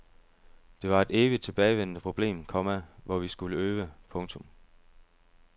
Det var et evigt tilbagevendende problem, komma hvor vi skulle øve. punktum